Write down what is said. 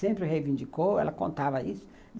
Sempre reivindicou, ela contava isso.